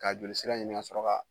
K'a jolisira ɲini kasɔrɔ ka